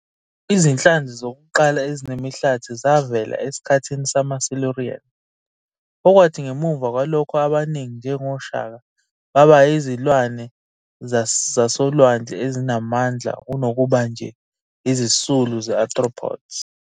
Izinhlanzi zokuqala ezinemihlathi zavela esikhathini samaSilurian, okwathi ngemuva kwalokho abaningi, njengoshaka, baba yizilwane zasolwandle ezinamandla kunokuba nje isisulu se-arthropods.